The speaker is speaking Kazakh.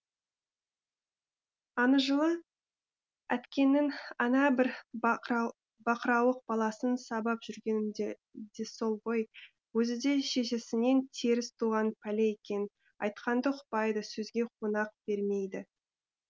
ана жылы әткеннің ана бір бақырауық баласын сабап жүргенім де сол ғой өзі де шешесінен теріс туған пәле екен айтқанды ұқпайды сөзге қонақ бермейді